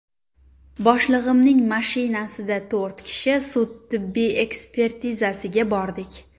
Boshlig‘imning mashinasida to‘rt kishi sud-tibbiy ekspertizasiga bordik.